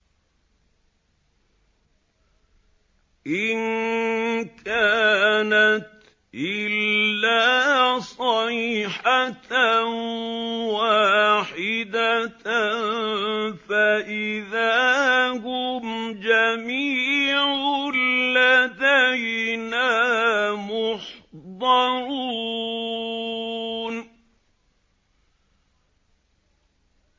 إِن كَانَتْ إِلَّا صَيْحَةً وَاحِدَةً فَإِذَا هُمْ جَمِيعٌ لَّدَيْنَا مُحْضَرُونَ